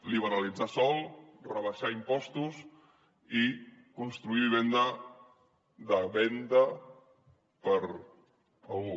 liberalitzar sòl rebaixar impostos i construir vivenda de venda per a algú